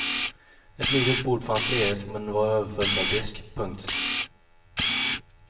Ett litet bord fanns ledigt men var överfullt av disk. punkt